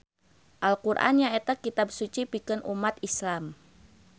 Al Qur'an nyaeta kitab suci pikeun ummat Islam.